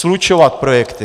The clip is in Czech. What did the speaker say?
Slučovat projekty.